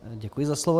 Děkuji za slovo.